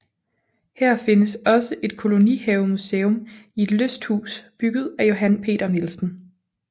Her findes også et kolonihavemuseum i et lysthus bygget af Johan Peter Nielsen